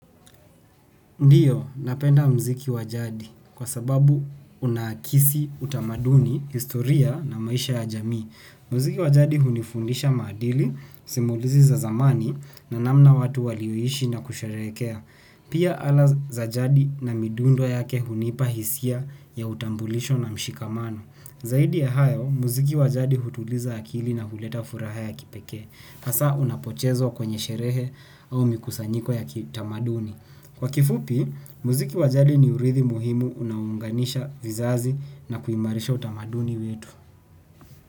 Ndio, napenda mziki wajadi. Kwa sababu unakisi utamaduni, historia na maisha ya jamii. Muziki wa jadi hunifundisha madili, simulizi za zamani na namna watu walivyo ishi na kusherekea. Pia ala za jadi na midundo yake hunipa hisia, ya utambulisho na mshikamano. Zaidi ya hayo, muziki wa jadi hutuliza akili na huleta furaha ya kipekee. Hasa unapochezwa kwenye sherehe, au mikusanyiko ya kitamaduni. Kwa kifupi, muziki wa jadi ni urithi muhimu unaounganisha vizazi na kuimarisha utamaduni wetu.